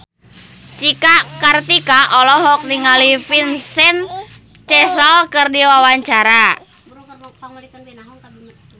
Cika Kartika olohok ningali Vincent Cassel keur diwawancara